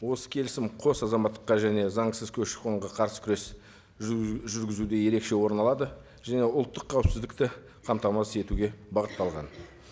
осы келісім қос азаматтыққа және заңсыз көші қонға қарсы күрес жүргізуде ерекше орын алады және ұлттық қауіпсіздікті қамтамасыз етуге бағытталған